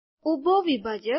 ઊભો વિભાજક